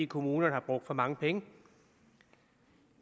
kommunerne har brugt for mange penge